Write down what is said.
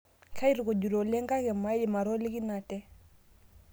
Kaitukujita oleng' kake maidim atoliki nate